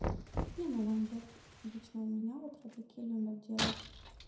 не ну омлет лично у меня вот родаки любят делать